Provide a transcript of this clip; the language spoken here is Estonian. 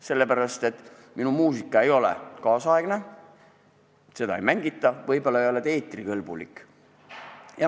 Sellepärast, et minu muusika ei ole tänapäevane, seda ei mängita, võib-olla ei ole see ka eetrikõlbulik.